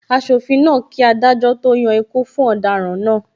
Asofin náà ń kí adájọ́ to yan ikú fún ọ̀daràn náà.